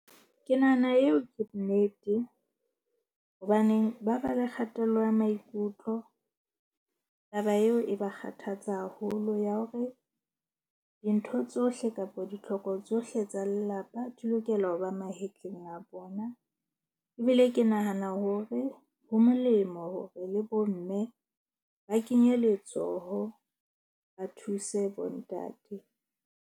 Ke nahana eo ke nnete hobaneng ba ba le kgatello ya maikutlo. Taba eo e ba kgathatsa haholo ya hore dintho tsohle kapa ditlhoko tsohle tsa lelapa di lokela ho ba mahetleng a bona. Ebile ke nahana hore ho molemo hore le bomme ba kenye letsoho, ba thuse bontate.